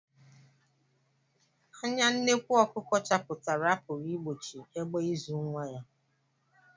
Anya nnekwụ ọkụkọ chapụtara apụghị igbochi egbe izu nwa ya.